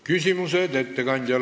Küsimused ettekandjale.